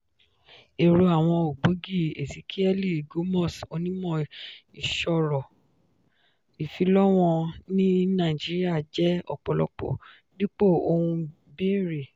èrò àwọn ògbógi: ezekiẹ́lì gomos onímọ̀ ìṣòro ìfilọ́wọ̀n ní naijiría jẹ́ ọ̀pọ̀lọpọ̀ dípò ohun béèrè.